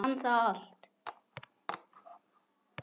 Brann það allt?